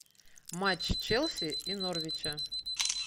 матч челси и норвича